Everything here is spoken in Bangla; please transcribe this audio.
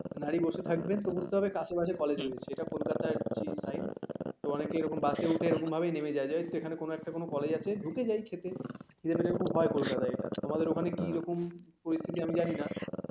নারি বসে থাকবেন তো বুঝতে পারবে আশেপাশে কলেজ রয়েছে কোলকাতার যে shine তো অনেকে এরকম বাস এ উঠে এরকম ভাবেই নেমে যায় যে জানিস তো এখানে কোন একটা কলেজ আছে ঢুকে যায় ঠেকে এরকম হয় কলকাতায় এটা, তোমাদের ওখানে কি পরিস্থিতি আমি জানি না